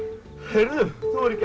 heyrðu þú hefur ekki